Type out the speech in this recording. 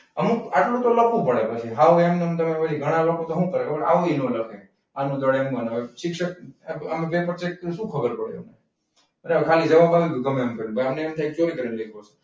અમુક આટલું તો લખવું પડે હા એમનેમ પછી ઘણા લોકો તો શું કરે ખબર આટલી ના લખે. શું ખબર પડે? બસ ગમે એમ જવાબ આવી ગયો અમને એમ લાગે કે ચોરી કરીને લખ્યું.